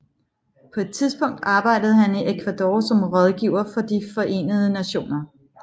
På et tidspunkt arbejdede han i Ecuador som rådgiver for de Forenede Nationer